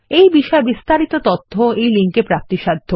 এই বিষয়ে বিস্তারিত তথ্য এই লিঙ্কে প্রাপ্তিসাধ্য